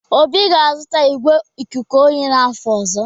Obi ga-azụta igwé ikuku oyi n'afọ ọzọ.